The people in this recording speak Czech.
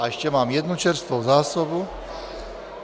A ještě mám jednu čerstvou zásobu.